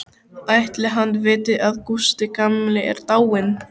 Ætli hann viti að Gústi gamli er dáinn?